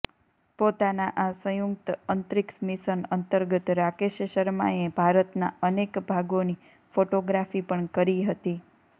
પોતાના આ સંયુક્ત અંતરિક્ષ મિશન અંતર્ગત રાકેશ શર્માએ ભારતના અનેક ભાગોની ફોટોગ્રાફી પણ કરી હતી